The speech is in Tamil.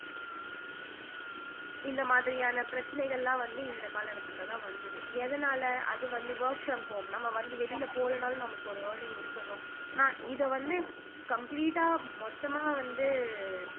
இந்த மாதிரியான பிரச்சனைகள் எல்லாம் வந்து இந்த கால கட்டத்துலதான் வந்தது எதனால அது வந்து work from home நம்ம வந்து வெளியில போகலைன்னாலும் நமக்கு ஒரு earning இருக்கணும் நான் இத வந்து complete ஆ மொத்தமா வந்து